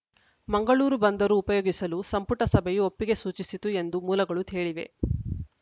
ಮಂಗಳೂರು ಬಂದರು ಉಪಯೋಗಿಸಲು ಸಂಪುಟ ಸಭೆಯು ಒಪ್ಪಿಗೆ ಸೂಚಿಸಿತು ಎಂದು ಮೂಲಗಳು ಹೇಳಿವೆ